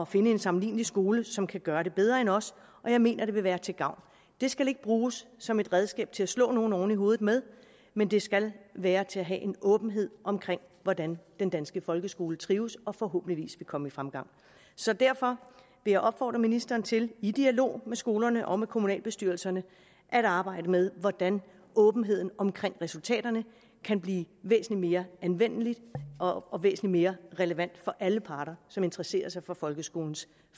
finde en sammenlignelig skole som kan gøre det bedre end os jeg mener det vil være til gavn det skal ikke bruges som et redskab til at slå nogen oven i hovedet med men det skal være til at have en åbenhed omkring hvordan den danske folkeskole trives og forhåbentligvis vil komme i fremgang så derfor vil jeg opfordre ministeren til i dialog med skolerne og med kommunalbestyrelserne at arbejde med hvordan åbenheden omkring resultaterne kan blive væsentlig mere anvendelig og væsentlig mere relevant for alle parter som interesserer sig for folkeskolens